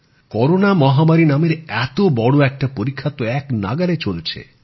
corona মহামারী নামের এত বড়ো একটা পরীক্ষা তো একনাগাড়ে চলছে